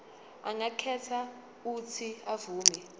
angakhetha uuthi avume